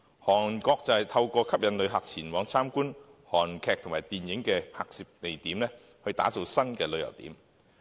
韓國則透過吸引旅客前往參觀韓劇和電影的拍攝地點，打造新的旅遊點。